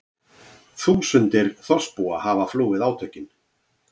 Þúsundir þorpsbúa hafa flúið átökin